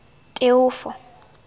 teofo